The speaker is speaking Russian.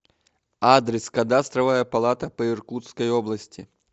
адрес кадастровая палата по иркутской области